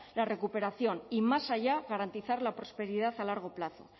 la recuperación y más allá garantizar la prosperidad a largo plazo